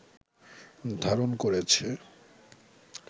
ধারণ করেছে